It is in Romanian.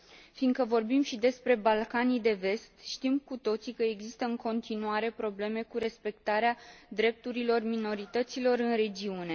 Fiindcă vorbim și despre Balcanii de Vest, știm cu toții că există în continuare probleme cu respectarea drepturilor minorităților în regiune.